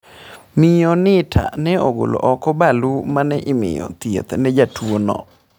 Miyo Nittla nogolo oko balu mane miyo thieth ne jatuo no.